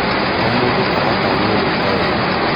O mũndũ aratanywo gwĩka wega.